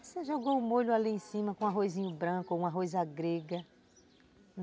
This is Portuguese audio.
Você jogou o molho ali em cima com um arrozinho branco ou um arroz à grega.